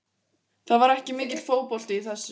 Það var ekki mikill fótbolti í þessu.